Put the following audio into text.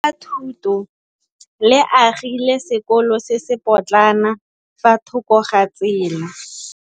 Lefapha la Thuto le agile sekôlô se se pôtlana fa thoko ga tsela.